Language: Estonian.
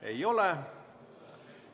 Ei ole.